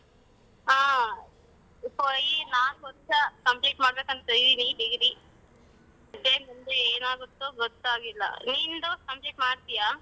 ಹ ಈ ನಾಲ್ಕ್ ವರ್ಷ complete ಮಾಡಬೇಕಂತ ಈ degree ಮತ್ತೆ ಮುಂದೆ ಏನಾಗುತ್ತೊ ಗೊತ್ತಾಗಿಲ್ಲ. ನಿಂದು complete ಮಾಡ್ತೀಯಾ?